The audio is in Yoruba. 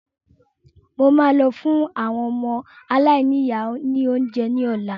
Mo máa lọ fun àwọn ọmọ aláìníya ni oúnjẹ ní ọ̀la